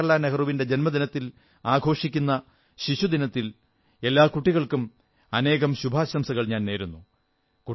ജവാഹർലാൽ നെഹ്റുവിന്റെ ജന്മദിനത്തിൽ ആഘോഷിക്കുന്ന ശിശുദിനത്തിൽ എല്ലാ കുട്ടികൾക്കും അനേകം ശുഭാശംസകൾ നേരുന്നു